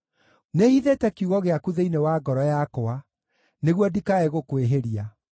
Nĩhithĩte kiugo gĩaku thĩinĩ wa ngoro yakwa, nĩguo ndikae gũkwĩhĩria.